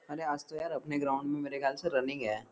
अरे आज तो यार अपने ग्राउन्ड में मेरे खयाल से रनिंग है।